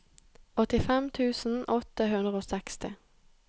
åttifem tusen åtte hundre og seksti